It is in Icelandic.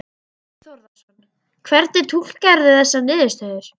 Þorbjörn Þórðarson: Hvernig túlkarðu þessar niðurstöður?